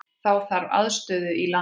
Þá þarf aðstöðu í landi.